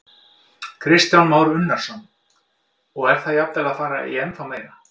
Kristján Már Unnarsson: Og er það jafnvel að fara í ennþá meira?